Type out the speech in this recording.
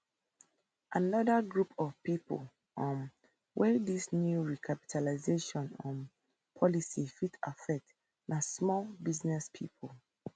anoda group of pipo um wey dis new recapitalisation um policy fit affect na small business pipo